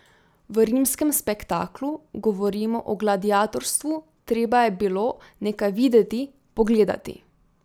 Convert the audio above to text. V rimskem spektaklu govorimo o gladiatorstvu, treba je bilo nekaj videti, pogledati.